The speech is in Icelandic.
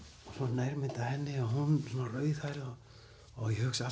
nærmynd af henni hún rauðhærð og ég hugsa